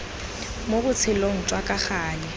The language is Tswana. mo botshelong jwa ka gale